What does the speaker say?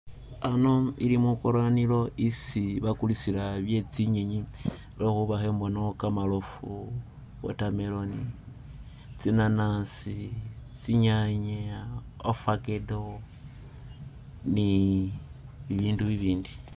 Ano ili mwi kulanilo isi bakulisila bye tsi'nyenyi lwekhuba ikhembonawo kamarofu, water melon , tsi nanasi, tsi'nyanya, avocado ne ibindu bibindi.